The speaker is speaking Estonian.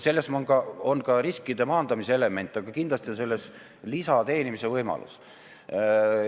Selles on riskide maandamise element, aga kindlasti on selles ka lisa teenimise võimalus.